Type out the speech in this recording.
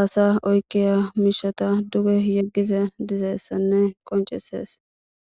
aasa oyqiya miishata duge yegiza dizayssanne qonccisees.